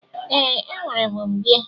Ee, enwere m mbie.